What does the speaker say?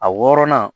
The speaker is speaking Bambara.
A wɔrɔnan